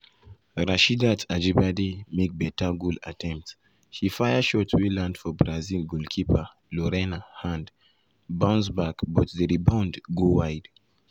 rasheedat ajibade make beta goal attempt she fire shot wey land for brazil goalkeeper lorena hand bounce back but di rebound go wide.